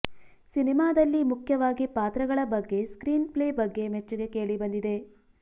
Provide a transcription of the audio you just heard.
ಸಿನಿಮಾದಲ್ಲಿ ಮುಖ್ಯವಾಗಿ ಪಾತ್ರಗಳ ಬಗ್ಗೆ ಸ್ಕ್ರೀನ್ ಪ್ಲೇ ಬಗ್ಗೆ ಮೆಚ್ಚುಗೆ ಕೇಳಿಬಂದಿದೆ